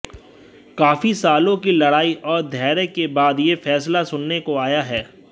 काफी सालों की लड़ाई और धैर्य के बाद यह फैसला सुनने को आया है